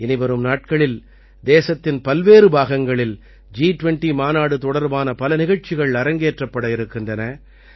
இனிவரும் நாட்களில் தேசத்தின் பல்வேறு பாகங்களில் ஜி20 மாநாடு தொடர்பான பல நிகழ்ச்சிகள் அரங்கேற்றப்பட இருக்கின்றன